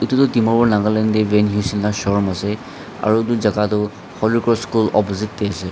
Etu tuh dimapur nagaland dae VanHeusen la showroom ase aro etu jaka tuh Holy Cross school opposite dae ase.